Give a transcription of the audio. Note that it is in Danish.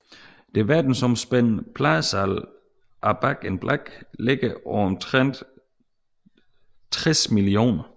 Det verdensomspændende pladesalg af Back in Black ligger på omtrent 60 millioner